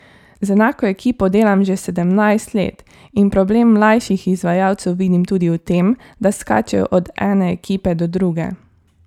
Z enako ekipo delam že sedemnajst let in problem mlajših izvajalcev vidim tudi v tem, da skačejo od ene ekipe do druge.